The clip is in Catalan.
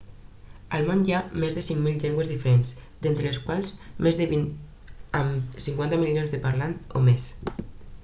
al món hi ha més de 5.000 llengües diferents d'entre les quals més de vint amb 50 milions de parlants o més